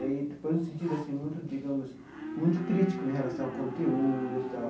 E aí depois um sentido assim muito digamos muito crítico né em relação ao conteúdo e tal.